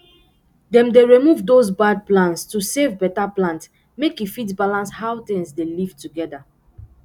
dem dey remove dose bad plants to save beta plant make e fit balance how tings dey live together